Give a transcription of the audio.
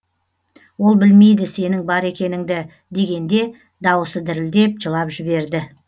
ол білмейді сенің бар екеніңді дегенде дауысы дірілдеп жылап жіберді